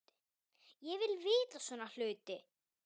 Ég vil vita svona hluti.